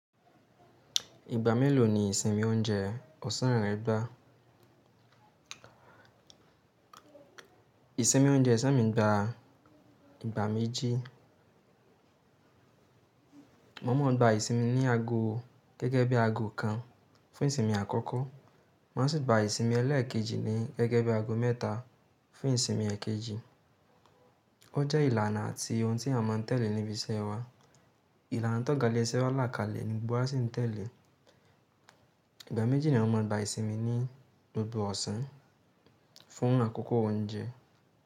Ìgbà mélòó ni ìsẹ́mi oúnjẹ ọ̀sán rẹ gbá? Ìsẹ́mi oúnjẹ ẹ̀sẹ́ mi gba ìgbà méjì. Mo máa ń gba ìsimi ní aago gẹ́gẹ́ bí i aago kan fún ìsimi àkọ́kọ́. Mà á sì gba ìsomi ẹlẹ́ẹ̀kejì ní gẹ́gẹ́ bí i aago mẹ́ta fún ìsimi ẹ̀kejì. O jẹ́ ìlànà àti ohun tí a máa ń tẹ̀lé níbi iṣẹ́ wa. Ìlànà tó ga ile isé wa lákàlẹ̀ ni gbogbo wa sì ń tẹ̀lé. Ìgbà méjì ni a máa ń gba ìsimi ní gbogbo ọ̀sán fún àkókò oúnjẹ.